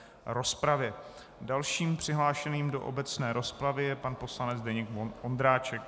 Dalším přihlášeným do obecné rozpravy je pan poslanec Zdeněk Ondráček.